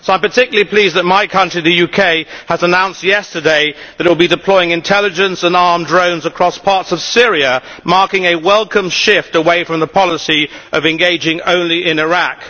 So I am particularly pleased that my country, the UK, has announced yesterday that it will be deploying intelligence and armed drones across parts of Syria, marking a welcome shift away from the policy of engaging only in Iraq.